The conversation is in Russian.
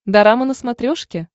дорама на смотрешке